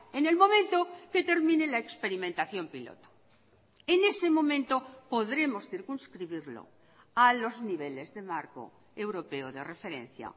en el momento que termine la experimentación piloto en ese momento podremos circunscribirlo a los niveles de marco europeo de referencia